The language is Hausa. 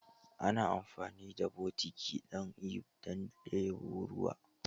Ana amfani da botiki don ɗebo ruwa.